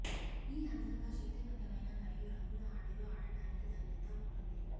ఈ అందంగా శక్తివంతమైన మరియు రంగుల ఆటలో ఆడటానికి తగినంత ఉంటుంది